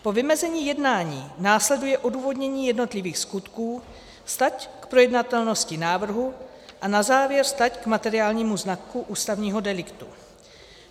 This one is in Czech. Po vymezení jednání následuje odůvodnění jednotlivých skutků, stať k projednatelnosti návrhu a na závěr stať k materiálnímu znaku ústavního deliktu.